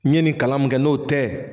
N ye nin kalan mun kɛ n'o tɛ.